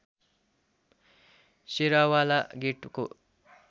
शेराँवाला गेटको